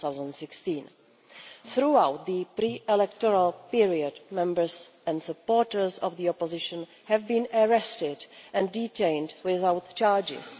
2016. Throughout the pre electoral period, members and supporters of the opposition have been arrested and detained without charges.